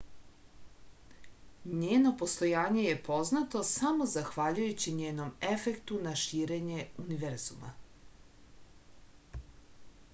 njeno postojanje je poznato samo zahvaljujući njenom efektu na širenje univerzuma